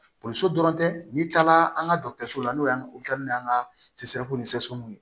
dɔrɔn tɛ n'i taara an ka la n'o y'an ka an ka